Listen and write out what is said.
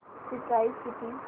ची प्राइस किती